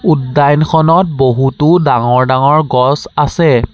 উদ্যানখনত বহুতো ডাঙৰ ডাঙৰ গছ আছে।